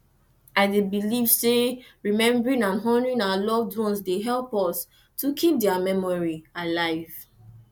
i dey believe say remembering and honouring our loved ones dey help us to keep dia memory alive